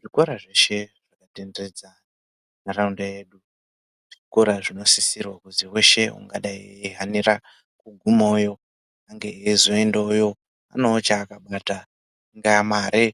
Zvikora zveshe zvakatenderedza nharaunda yedu zvikora zvinosisirwa kuti weshe angadai eihanira kugumeyo ange eizoendawo nechaakabata ingava mare